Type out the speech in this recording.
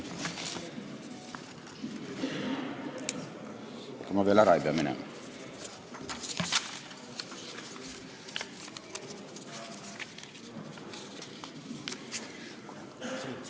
Ega ma veel ära ei pea minema?